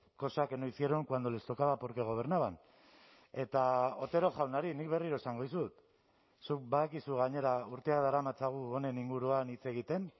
cosa que no hicieron cuando les tocaba porque gobernaban eta otero jaunari nik berriro esango dizut zuk badakizu gainera urteak daramatzagu honen inguruan hitz egiten